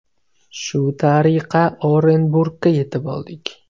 Shu tariqa Orenburgga yetib oldik.